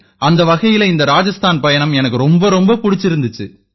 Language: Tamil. அந்த வகையில இந்த ராஜஸ்தான் பயணம் எனக்கு ரொம்ப ரொம்ப பிடிச்சிருந்திச்சு